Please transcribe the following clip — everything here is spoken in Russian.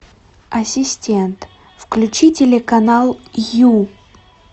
ассистент включи телеканал ю